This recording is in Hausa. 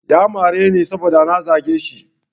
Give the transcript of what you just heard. Ya mareni saboda na zage shi.